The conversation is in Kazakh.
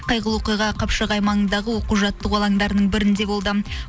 қайғылы оқиға қапшағай маңындағы оқу жаттығу алаңдарының бірінде болды